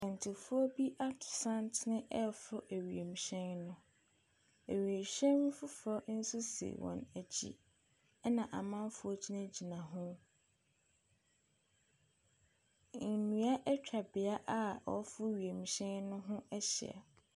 Akwantufoɔ bi ato santene reforo wiemhyɛn. Wiemhyɛn foforɔ nso si wɔn akyi, ɛnna amanfoɔ gyinagyina ho. Nnua atwa beaeɛ a wɔreforo wiemhyɛn no ho ahyia.